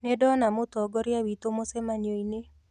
Nĩndona mũtongoria witũ mũcemanio-ini